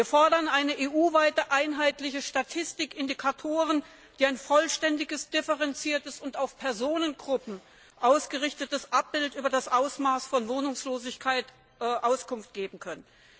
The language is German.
Wir fordern eine EU weit einheitliche Statistik, Indikatoren, die ein vollständiges, differenziertes und auf Personengruppen ausgerichtetes Abbild über das Ausmaß von Wohnungslosigkeit geben können.